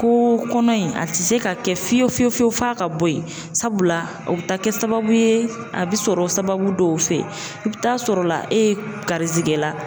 Ko kɔnɔ in a tɛ se ka kɛ fiyewu fiyewu fiyewu f'a ka bɔ yen, sabula o bɛ taa kɛ sababu ye a bɛ sɔrɔ sababu dɔw fɛ, i bɛ taa sɔrɔla e ye garizigɛ la